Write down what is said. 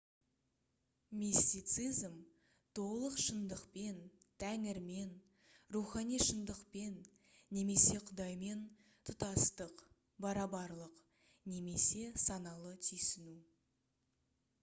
мистицизм толық шындықпен тәңірмен рухани шындықпен немесе құдаймен тұтастық барабарлық немесе саналы түйсіну